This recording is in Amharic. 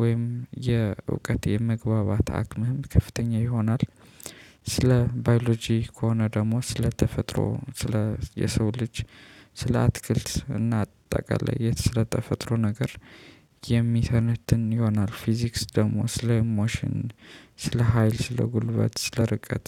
ወይም የእውቀት የመግባባት አቅምህም ከፍተኛ ይሆናል። ስለ ባዮሎጂ ከሆነ ደግሞ ስለ ተፈጥሮ ስለ የሰው ልጅ ስለ አትክልት እና አጠቃላይ የት ስለ ተፈጥሮ ነገር የሚሰነትን ይሆናል። ፊዚክስ ደግሞ ስለ ሞሽን ስለ ሀይል ስለ ጉልበት ስለ ርቀት